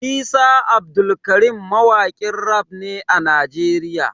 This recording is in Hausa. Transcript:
Isa Abdulkarim mawakin raf ne a Nigeria.